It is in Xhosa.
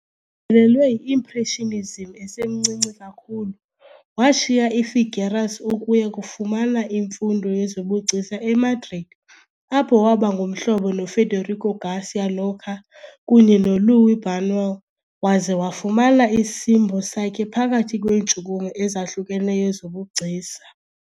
lelwe yi-Impressionism esemncinci kakhulu, washiya i-Figueras ukuya kufumana imfundo yezobugcisa eMadrid apho waba ngumhlobo noFederico García Lorca kunye noLuis Buñuel waza wafuna isimbo sakhe phakathi kweentshukumo ezahlukeneyo zobugcisa.